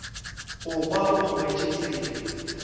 go kwa o tlogetše tsela